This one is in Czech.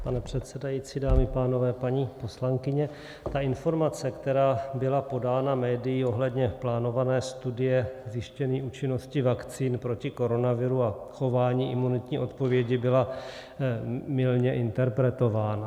Pane předsedající, dámy a pánové, paní poslankyně, ta informace, která byla podána médii ohledně plánované studie zjištění účinnosti vakcín proti koronaviru a chování imunitní odpovědi, byla mylně interpretována.